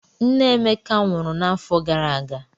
Nne Emeka nwụrụ n'afọ gara aga.